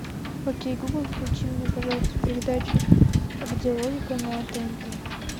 окей гугл включи мне пожалуйста передачу где логика на тнт